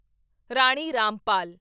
Rani Rampal